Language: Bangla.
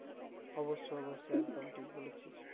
অবশ্যই অবশ্যই একদম ঠিক বলেছিস